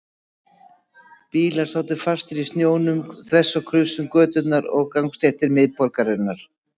Bílar sátu fastir í snjónum þvers og kruss um götur og gangstéttir miðborgarinnar.